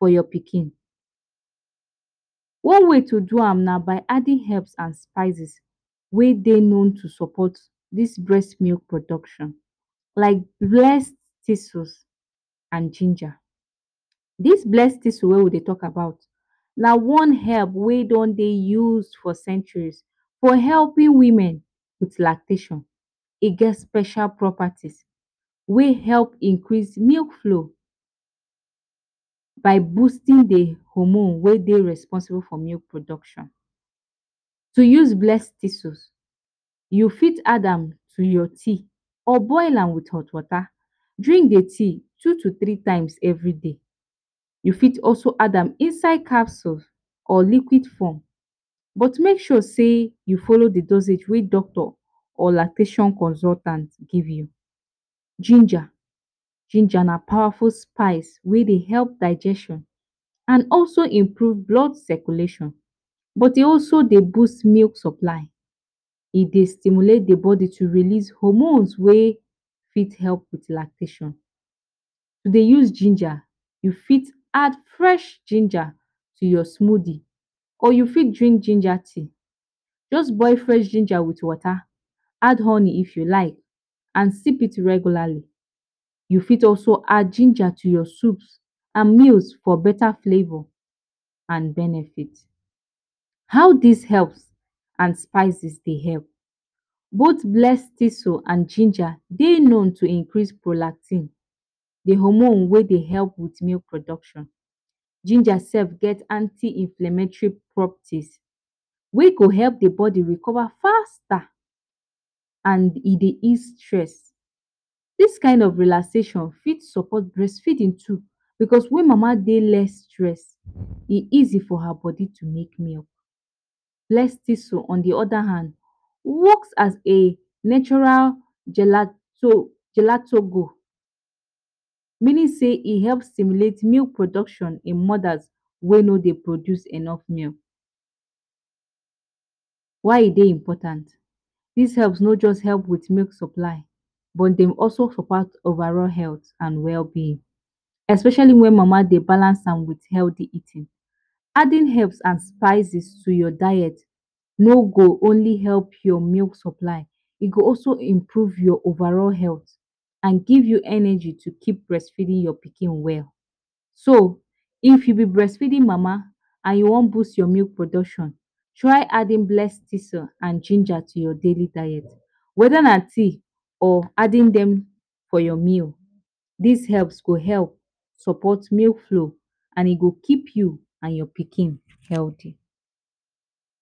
for your pikin, one way to do am na by adding herbs and spices wey Dey known to support dis breast milk production, like bless tissles and ginger, dos bless tussle wey wey we Dey talk about na one herb wey don Dey used for centuries for helping women with lactation,e get special properties wey help increase milk flow by boosting d hormone wey Dey responsible for milk production, to use bless tissles u for add an to your tea or boil am with hot water drink d tea two to three times everyday, u for also add am inside capsule or liquid form but make sure say u follow d dosage wey doctor or lactation consultant give you. Ginger, ginger na powerful spice wey Dey help digestion and also improve blood circulation, but e also Dey boost milk supply, e Dey stimulate d body to release hormones wey Dey promote lactation, to Dey use ginger u for add fresh ginger to your smoothie or you fit drink ginger tea, just boil fresh ginger with water add honey if u like and sip it regularly, u fit also add ginger to your soups and meals for beta flavor and benefit. How did herb and spices Dey help, both bless tissles and ginger Dey known to improve prolactin d hormone wey Dey help with milk production, ginger sef get anti-inflammatory properties wey go help d body recover faster and e Dey ease stress, dis kind of relaxation for support breastfeeding too, because wen mama Dey less stress e ease for her body to make less milk, bless tissles on d oda hand works as a natural gelatos, meaning sey e help promote milk production in mother wey no dey produce enough milk. Why e dey important, dis herbs no just help with milk supply but dem also provide overall health and well being, especially wen mama dey balance am with healthy, adding health and spices to your diet ni go only help your milk supply, e go also improve your overall health, and give you energy to keep breastfeeding your pikin well, so if u b breastfeeding mama and u wan boost your milk production, try adding bless tissle and ginger to your daily diet, weda na tea or adding dem for your meal, dis herbs go help support milk flow and e go keep you and your pikin healthy.